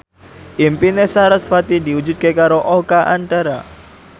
impine sarasvati diwujudke karo Oka Antara